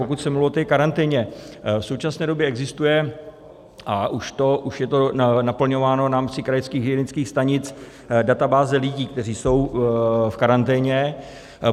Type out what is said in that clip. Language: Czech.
Pokud jsem mluvil o té karanténě, v současné době existuje, a už je to naplňováno v rámci krajských hygienických stanic, databáze lidí, kteří jsou v karanténě.